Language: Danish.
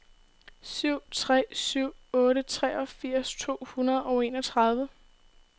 syv tre syv otte treogfirs to hundrede og enogtredive